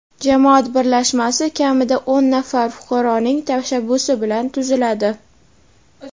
Jamoat birlashmasi kamida o‘n nafar fuqaroning tashabbusi bilan tuziladi.